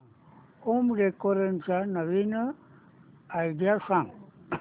home decoration च्या नवीन idea सांग